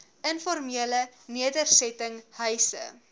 informele nedersetting huise